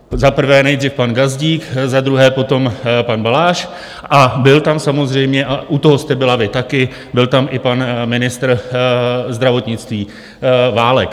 Za prvé nejdřív pan Gazdík, za druhé potom pan Balaš a byl tam samozřejmě, a u toho jste byla vy taky, byl tam i pan ministr zdravotnictví Válek.